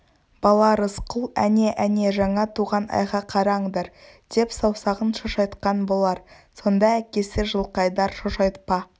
бала рысқұл әне әне жаңа туған айға қараңдар деп саусағын шошайтқан болар сонда әкесі жылқайдар шошайтпа